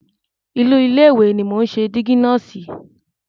Inú ilé ìwẹ̀ ni mò ń ṣe dígí náà sí.